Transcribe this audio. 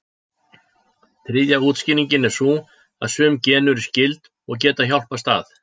Þriðja útskýringin er sú að sum gen eru skyld, og geta hjálpast að.